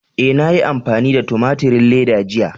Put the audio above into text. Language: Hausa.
E, na yi amfani da tumaturin leda jiya.